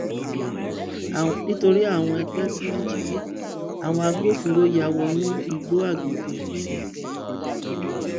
nítorí àwọn àgbẹ tí wọn jí gbé àwọn agbófinró ya wọnú igbó àgbègbè òkè